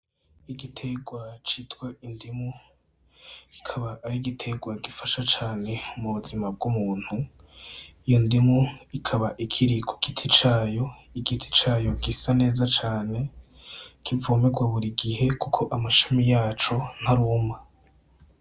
Igitegwa citwa indimu, kikaba ari igitegwa gifasha cane m'ubuzima bw'umuntu. Iyo ndimu ikaba ikiri ku giti cayo, igiti cayo gisa neza cane, kivomerwa buri gihe, kuko amashami yaco ntaruma.